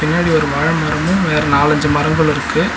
பின்னாடி ஒரு வாழ மரமு வேற நாலஞ்சு மரங்களு இருக்கு.